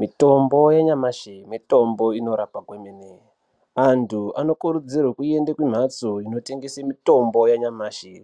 Mitombo yenyamashi mitombo inorapa kwemene. Antu anokurudzirwe kuende kumhatso inotengese mitombo yenyamashi.